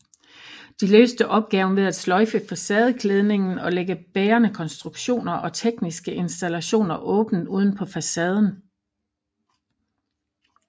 De løste opgaven ved at sløjfe facadeklædning og lægge bærende konstruktioner og tekniske installationer åbent udenpå facaden